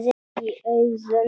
Í augum